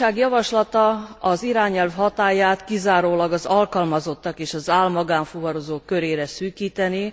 A Bizottság javaslata az irányelv hatályát kizárólag az alkalmazottak és az ál magánfuvarozók körére szűkítené.